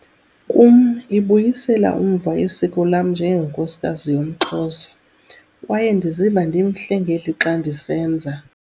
Kum, ibuyisela umva isiko lam njengenkosikazi yomXhosa - kwaye ndiziva ndimhle ngelixa ndisenza.